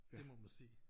Det må man sige